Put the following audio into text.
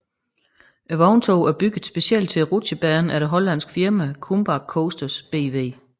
Vogntoget er bygget specielt til Rutschebanen af det hollandske firma KumbaK Coasters BV